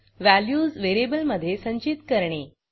values व्हेरिएबलमधे संचित करणे